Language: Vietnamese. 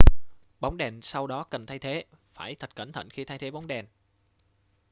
bóng đèn sau đó cần thay thế phải thật cẩn thận khi thay thế bóng đèn